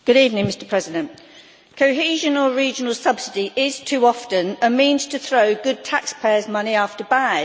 Mr President, cohesion or regional subsidy is too often a means to throw good taxpayers' money after bad.